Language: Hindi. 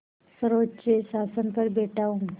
सर्वोच्च आसन पर बैठा हूँ